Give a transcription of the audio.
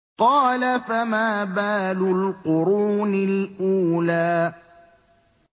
قَالَ فَمَا بَالُ الْقُرُونِ الْأُولَىٰ